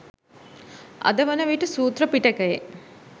අද වන විට සූත්‍ර පිටකයේ